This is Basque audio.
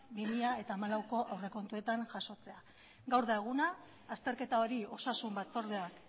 bi mila hamalauko aurrekontuetan jasotzea gaur da eguna azterketa hori osasun batzordeak